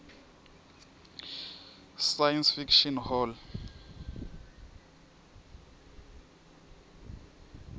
science fiction hall